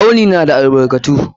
Tsauni na da albarkatu.